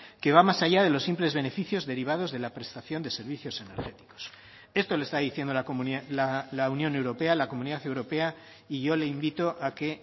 que va más allá de los simples beneficios derivados de la prestación de servicios energéticos esto le está diciendo la unión europea la comunidad europea y yo le invito a que